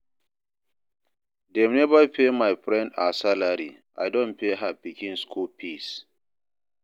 Dem neva pay my friend her salary, I don pay her pikin skool fees.